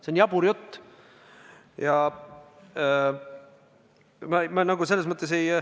See on jabur jutt!